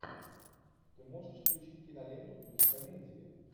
ты можешь включить киноленту в духе комедии